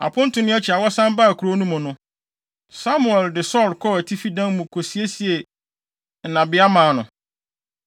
Aponto no akyi a wɔsan baa kurow no mu no, Samuel de Saulo kɔɔ atifi dan mu kosiesie nnabea maa no.